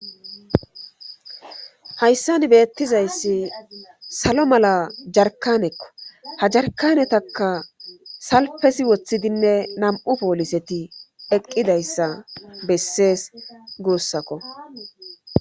Hayssan beettizayssi salo mala jarkanekko ha jarkanetaka salpesi woththidinne nam7u pooliseti eqqidayssa bessees guussakko